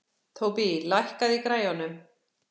Tóbý, lækkaðu í græjunum.